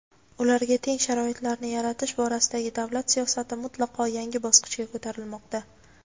ularga teng sharoitlarni yaratish borasidagi davlat siyosati mutlaqo yangi bosqichga ko‘tarilmoqda.